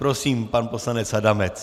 Prosím, pan poslanec Adamec.